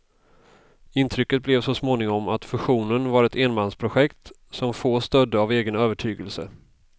Intrycket blev så småningom att fusionen var ett enmansprojekt, som få stödde av egen övertygelse.